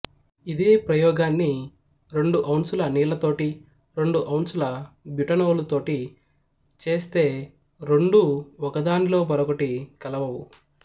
ఇదే ప్రయోగాన్ని రెండు ఔన్సుల నీళ్ల తోటీ రెండు ఔన్సుల బ్యుటనోలు తోటీ చేస్తే రెండూ ఒకదానిలో మరొకటి కలవవు